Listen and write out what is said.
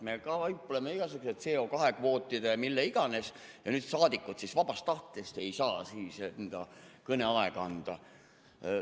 " Me kaupleme igasuguste asajdega, CO2 kvootidega ja millega iganes, aga nüüd saadikud ei saa vabast tahtest enda kõneaega edasi anda.